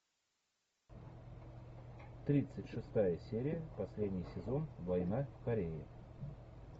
тридцать шестая серия последний сезон война в корее